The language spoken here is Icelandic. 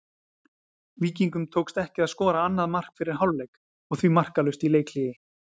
Víkingum tókst ekki að skora annað mark fyrir hálfleik og því markalaust í leikhléi.